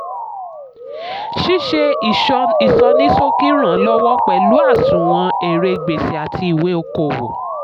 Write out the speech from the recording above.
ṣíṣe ìsọníṣókì ràn lọ́wọ́ pẹ̀lú àsunwon èrè gbèsè àti ìwé okò-òwò.